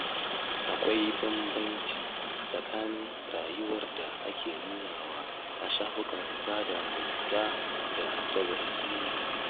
Akwai bambanci tsakanin rayuwar da ake nunawa a shafukan sada zumunta da ta gaske.